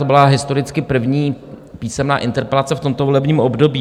To byla historicky první písemná interpelace v tomto volebním období.